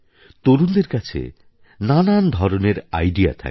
তরুণদের কাছে নানা ধরনের আইডিয়া থাকে